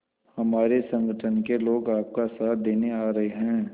हमारे संगठन के लोग आपका साथ देने आ रहे हैं